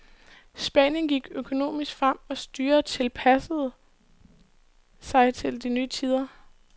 Spanien gik økonomisk frem, og styret tilpassede sig de nye tider.